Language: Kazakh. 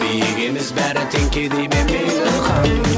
биік емес бәрі тең кедей ме мейлі хан